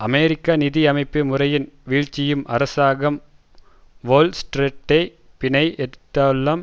அமெரிக்க நிதி அமைப்பு முறையின் வீழ்ச்சியும் அரசாங்கம் வோல் ஸ்ட்ரீட்டை பிணை எடுத்துள்ளதும்